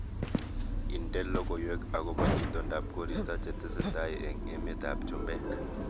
Indene logoywek agoba itondab koristo chetesetai eng emetab chumbek